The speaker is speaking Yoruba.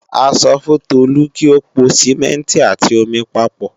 A sọ fún Tolu kí ó po Sìmẹ́ǹtì àti omi papọ̀